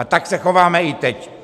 A tak se chováme i teď.